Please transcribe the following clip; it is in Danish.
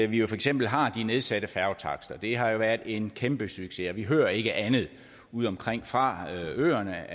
vi jo for eksempel har de nedsatte færgetakster det har jo været en kæmpesucces og vi hører ikke andet udeomkring fra øerne